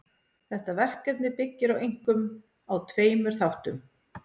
Þetta verkefni byggir einkum á tveimur þáttum.